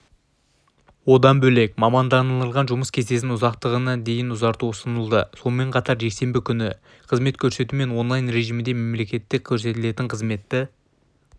одан бөлек мамандандырылған жұмыс кестесінің ұзақтығын дейін ұзарту ұсынылды сонымен қатар жексенбі күні қызмет көрсету мен онлайн режимінде мемлекеттік көрсетілетін қызметті